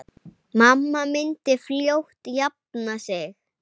Mamma myndi fljótt jafna sig.